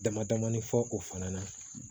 Dama damani fɔ o fana na